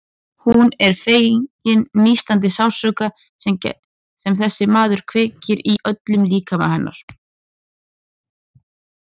Hún er fegin nístandi sársaukanum sem þessi maður kveikir í öllum líkama hennar.